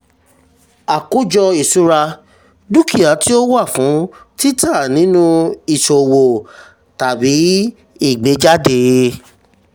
àkójọ ìṣura: dúkìá tí ò wà fún tita nínú ìṣowo tàbí ìgbéjáde.